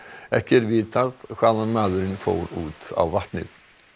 ekki er vitað hvaðan maðurinn fór út á vatnið